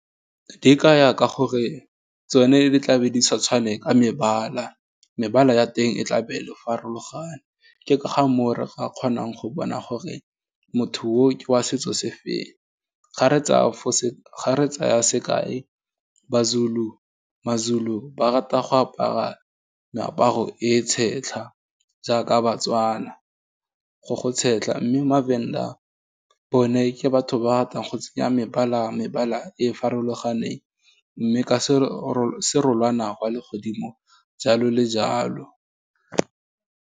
Di ya ka gore tsone di tlabe di sa tshwane ka mebala, mebala ya teng e tlabe e farologane, ke ka ga moo re ga kgonang go bona gore, motho wa setso se feng, ga re e tsaya sekai maZulu ba rata go apara meaparo e tshetlha, jaaka baTswana, go go tshetlha. Mme maVenda bone ke batho ba ratang go tsenya mebala e e farologaneng, mme ka serolwana wa le godimo jalo le jalo.